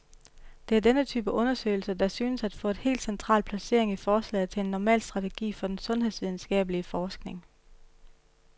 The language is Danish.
Det er denne type undersøgelser, der synes at få et helt central placering i forslaget til en normal strategi for den sundhedsvidenskabelig forskning.